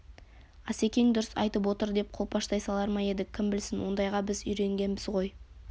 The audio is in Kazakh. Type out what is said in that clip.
асекең дұрыс айтып отыр деп қолпаштай салар ма едік кім білсін ондайға біз үйренбегенбіз ғой